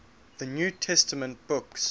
new testament books